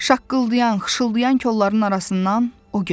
Şaqqıldayan, xışıldayan kolların arasından o göründü.